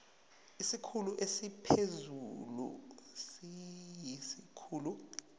isikhulu esiphezulu siyisikhulu